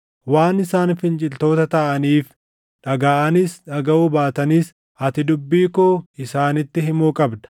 Waan isaan finciltoota taʼaniif, dhagaʼanis dhagaʼuu baatanis ati dubbii koo isaanitti himuu qabda.